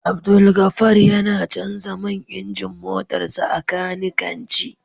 Abdulgafar yana Canja man injin motarsa ​​a kanikanci